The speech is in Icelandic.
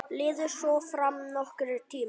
Liðu svo fram nokkrir tímar.